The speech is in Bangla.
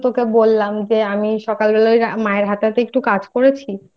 তোকে তো বললাম যে সকাল বেলা মায়ের হাতে হাতে একটু কাজ করেছি